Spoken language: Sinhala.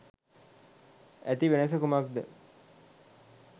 ඇති වෙනස කුමක්ද?